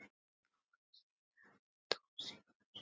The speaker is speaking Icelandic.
Ári seinna dó Sigfús.